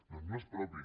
doncs no és propi